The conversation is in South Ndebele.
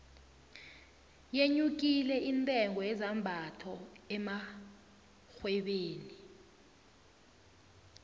yenyukile intengo yezambayho emarhwebeni